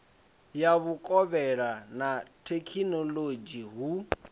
ya vhukovhela na thekhinolodzhi hu